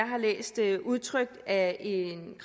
har læst det udtrykt af en